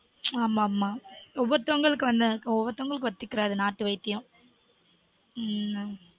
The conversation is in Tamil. ஆமா ஆமா ஒவ்வொருத்தங்களுக்கு ஒன்னும் ஆகாது ஒவ்வொருத்தங்களுக்கு ஒத்து கிடாது நாட்டு வைத்தியம்